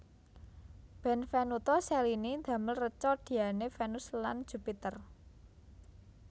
Benvenuto Cellini damel reca Diane Vénus lan Jupiter